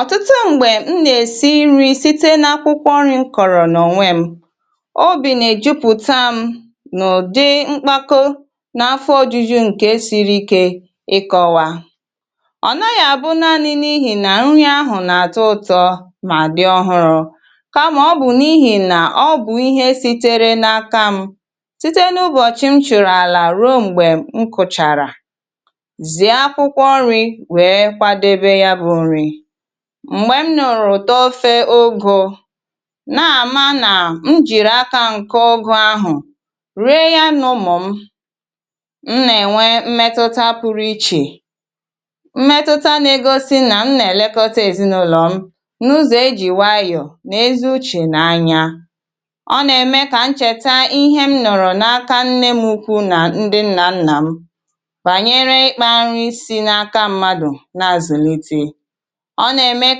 Ọ̀tụtụ m̀gbè, m nà-èsi ri̇ site na akwụkwọ ọrị̇ kọ̀rọ̀ n’ọ̀nwẹm, m ò bì nà èjupụ̀ta m n’ụ̀dị m̀kpakọ nà afọ̇ ojuju ǹkè siri ike ịkọ̇wȧ. Ọ̀ nọ yà, bụ̀ naanị n’ihì nà nrị ahụ̀ nà àtọ ụ̀tọ mà dị̀ ọhụrụ, kàmà ọ bụ̀ n’ihì nà ọ bụ̀ ihe sitere n’aka m site n’ụbọ̀chị̀ m chụ̀rụ̀ àlà ruo m̀gbè m kùchàrà m̀gbè m nọ̀rọ̀ tọfe ogȯ nà-àma nà m jìrì aka ǹke ọgụ ahụ̀ ree ya n’ụmụ̀ m. M nà-ènwe mmetụta pụrụ ichè, mmetụta na-egosi nà m nà-èlekọta èzinụlọ̀ m n’ụzọ̀ ejì wayọ̀ nà ezi uche nà anya. Ọ nà-ème kà m chèta ihe m nọ̀rọ̀ n’aka nne m ukwu nà ndị nnà nnà m, bànyere ịkpȧ nri̇ si n’aka mmadụ̀ na àzụlite. Ọ nà-ème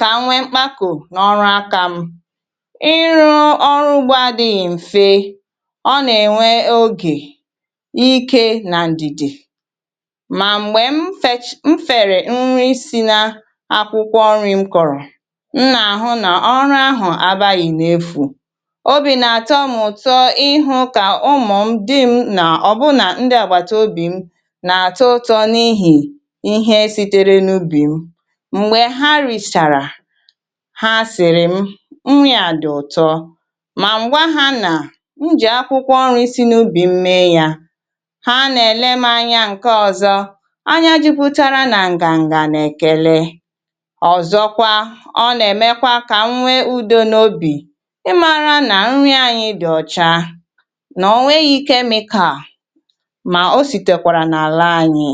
kà m nwee mkpako n’ọrụ akȧ m, um ịrụ̇ ọrụ ugbȯ adị̇ghị̇ m̀fe. Ọ nà-ènwe ogè ike nà ǹdìdè, mà m̀gbè m fèrè nri̇ si na akwụkwọ ọrị̇ m kọ̀rọ̀, m nà-àhụ nà ọrụ ahụ̀ abaghị̇ n’efù. Obì nà-àtọ m ụ̀tọ ihu, um kà ụmụ̀ m dịm nà ọ̀bụnà ndị àgbàtà obì m nà-àtọ ụ̀tọ n’ihì ihe si̇tere n’ubì m. Ha sị̀rị̀ m nri̇ à dị̀ ụ̀tọ, mà ǹgwa ha nà m jì akwụkwọ ọrị̇ sinubì m mee yȧ. Ha nà-èle m anya ǹke ọ̀zọ, anya jupùtárà nà ǹgà ǹgà nà-èkele. Ọ̀zọkwa, ọ nà-èmekwa kà m nwee ùdo n’obì, um ị mara nà nrị̇ anyị dị̀ ọ̀cha nà ọ̀ nwee yȧ ike mikaà, mà o sìtèkwàrà nà àlà anyị.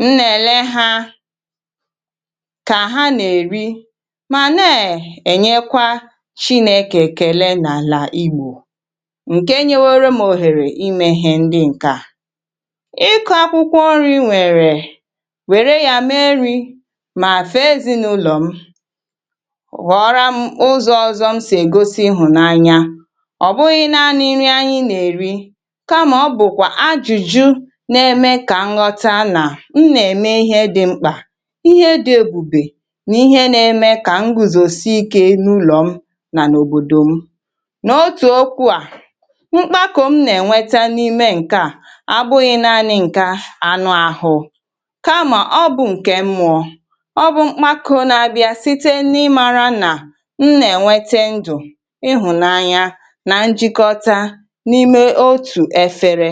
M nà-èle ha kà ha nà-èri̇ mà na-ènyekwa Chinėkè kele nàlà Ìgbò ǹke nyewere mȧ òhèrè imèghì̇ ǹkè a. Ịkụ̇ akwụkwọ nri̇ nwèrè, wè̄rè ya mee nri̇, mà fee ezinàụlọ̀ m, wè̄rè orụmụ ụzọ̇ ọzọ̇ m sì egosi ịhụ̀ n’anya. Ọ bụghị̇ naanị nri̇ anyị nà-èri̇ nà-ème kà nghọta nà m nà-ème ihe dị̇ mkpà, ihe dị̇ èbùbè nà ihe na-ème kà m guzòsi ike n’ụlọ̀ m nà òbòdò m. Nà otù okwu à, um mkpá kà m nà-ènweta n’ime ǹkè a. Ọ bụghị̇ naanị̇ ǹkè anụ àhụ, kamà ọ bụ̀ ǹkè mmụọ̇. Ọ bụ̀ mkpakȯ na-abịa site n’ịmara nà m nà-ènwete ndù, um ịhụ̀la anya nà njịkọta n’ime otù efere.